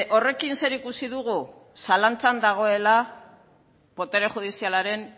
horrekin zer ikusi dugu zalantzan dagoela botere judizialaren